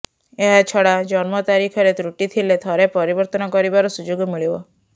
ଏହାଛଡା ଜନ୍ମ ତାରିଖରେ ତ୍ରୁଟି ଥିଲେ ଥରେ ପରିବର୍ତ୍ତନ କରିବାର ସୁଯୋଗ ମିଳିବ